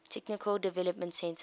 technical development center